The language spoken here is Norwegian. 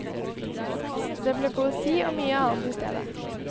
Det ble poesi og mye annet i stedet.